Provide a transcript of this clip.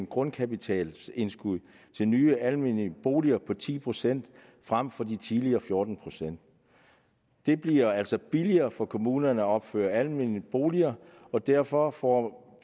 grundkapitalindskud i nye almene boliger på ti procent frem for de tidligere fjorten procent det bliver altså billigere for kommunerne at opføre almene boliger og derfor får